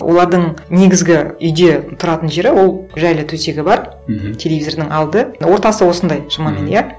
олардың негізгі үйде тұратын жері ол жайлы төсегі бар мхм телевизордың алды ортасы осындай шамамен иә